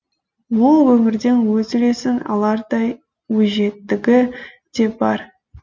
ол өмірден өз үлесін алардай өжеттігі де бар